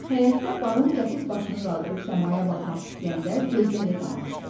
Həyətdə Baron qəfil başını qaldırıb səmaya baxmaq istəyəndə gözləri qamaşdı.